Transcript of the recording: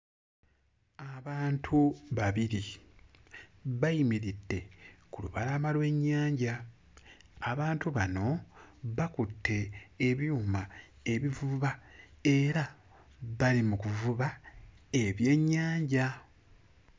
Abantu babiri bayimiridde ku lubalama lw'ennyanja, abantu bano bakutte ebyuma ebivuba era bali mu kuvuba ebyennyanja.